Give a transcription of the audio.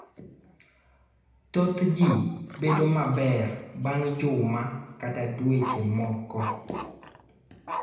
Thoth ji bedo maber bang� juma kata dweche moko.